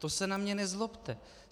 To se na mě nezlobte!